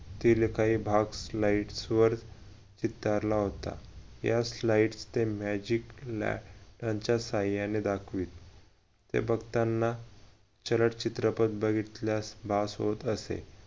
तील काही भाग slides वर होता त्यात slides ते magic च्या सहाय्याने दाखवी हे बघताना चित्रपट बघितल्यास भास होत असे